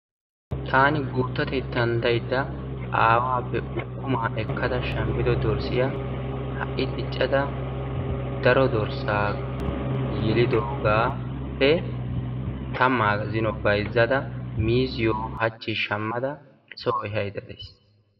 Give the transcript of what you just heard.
Taani gutattetan daydda aawaappe ukumaa ekkada shaammidi dorssiyaa ha'i diiccada daro dorssaa yeelidoogappe tammaa zino bayzzada miiziyoo haachchi shammada soo ehaydda days.